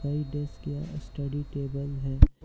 यह डेस्क या study table है।